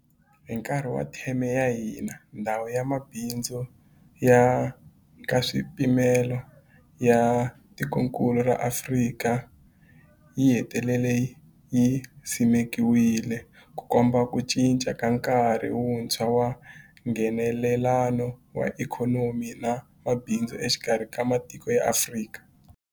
Hi nkarhi wa theme ya hina, Ndhawu ya Mabindzu ya Nkaswipimelo ya Tikokulu ra Afrika, yi hetelele yi simekiwile, Ku komba ku cinca ka nkarhi wuntshwa wa Nghenelelano wa ikhonomi na mabindzu exikarhi ka matiko ya Afrika.